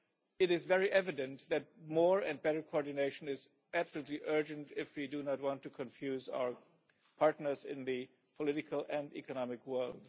it is very evident that more and better coordination is absolutely urgent if we do not want to confuse our partners in the political and economic world.